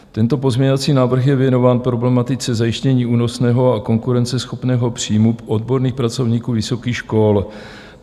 Tento pozměňovací návrh je věnován problematice zajištění únosného a konkurenceschopného příjmu odborných pracovníků vysokých škol.